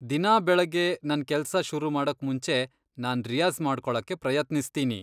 ದಿನಾ ಬೆಳಗ್ಗೆ ನನ್ ಕೆಲ್ಸ ಶುರುಮಾಡೋಕ್ ಮುಂಚೆ ನಾನ್ ರಿಯಾಜ಼್ ಮಾಡ್ಕೊಳಕ್ಕೆ ಪ್ರಯತ್ನಿಸ್ತೀನಿ.